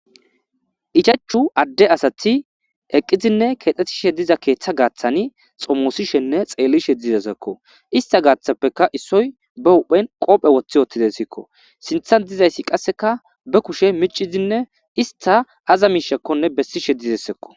Ichachu ade asati eqidine kexetishe diza ketha gathani xomosishene xelishe dizaysako ista gathapeka isoy be huphen qobe woti wotizaysako sintan dizaysi qaseka be kushe mic'izine ista aza mishakoneka besishe de'izaysako.